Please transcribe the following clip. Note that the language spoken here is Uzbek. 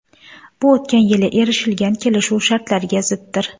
Bu o‘tgan yili erishilgan kelishuv shartlariga ziddir.